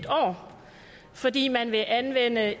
år fordi man vil anvende